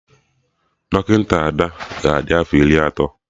Dọkịta Ada ga adị afọ Iri atọ